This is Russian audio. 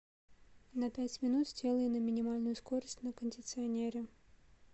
на пять минут сделай на минимальную скорость на кондиционере